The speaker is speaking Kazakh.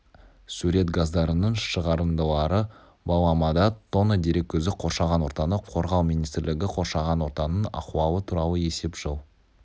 сурет газдарының шығарындылары баламада тонна дерек көзі қоршаған ортаны қорғау министрлігі қоршаған ортаның ахуалы туралы есеп жыл